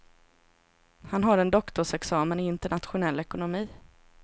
Han har en doktorsexamen i internationell ekonomi.